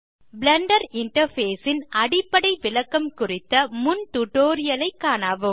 Blender interface ன் அடிப்படை விளக்கம் குறித்த முன் டியூட்டோரியல் ஐ காணவும்